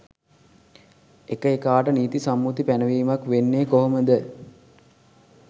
එක එකාට නීති සම්මුති පැනවීමක් වෙන්නේ කොහොමද?